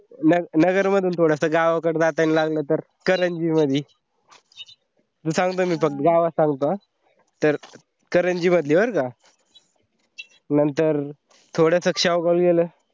नगर मंधून थोडासा गावाकडे जाताना लागला तर, करंजी मध्ये मी सांगतो मी गावात सब करंजी मध्ये बरे का? नंतर थोडा स शेवगाव ला गेलं